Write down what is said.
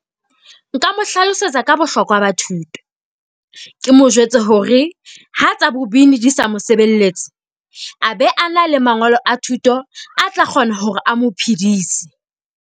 Nka mo hlalosetsa ka bohlokwa ba thuto, ke mo jwetse hore ha tsa bobini di sa mo sebeletse, a be a na le mangolo a thuto, a tla kgona hore a mo phidise.